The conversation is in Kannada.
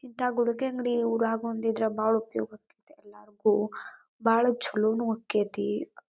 ಇಂಥ ಗುಡುಕೆ ಅಂಗಡಿ ಊರಾಗ ಒಂದಿದ್ರ ಬಾಳ ಉಪಯೋಗ ಆಕ್ಕೇತಿ ಎಲ್ಲರಿಗೂ ಬಾಳ ಚಲೋನು ಆಕ್ಕೆತಿ.